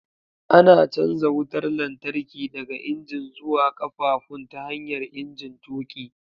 Ana canja wutar lantarki daga injin zuwa ƙafafun ta hanyar injin tuƙi.